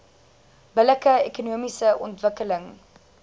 billike ekonomiese ontwikkeling